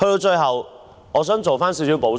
最後，我想作少許補充。